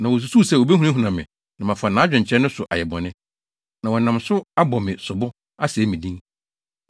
Na wosusuw sɛ wobehunahuna me, na mafa nʼadwenkyerɛ no so ayɛ bɔne, na wɔnam so abɔ me sobo, asɛe me din.